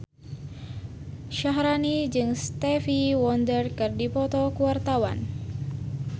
Syaharani jeung Stevie Wonder keur dipoto ku wartawan